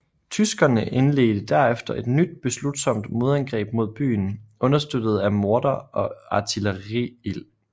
Tyskerne indledte derefter et nyt beslutsomt modangreb mod byen understøttet af morter og artilleriild